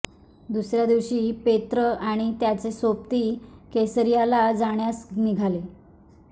दुसऱ्या दिवशी पेत्र आणि त्याचे सोबती कैसरियाला जाण्यास निघाले